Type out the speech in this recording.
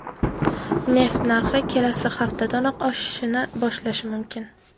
Neft narxi kelasi haftadanoq oshishni boshlashi mumkin.